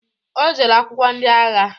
Ọ jere akwụkwọ ndị agha